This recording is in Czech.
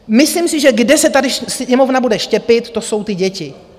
Myslím si, že kde se tady Sněmovna bude štěpit, to jsou ty děti.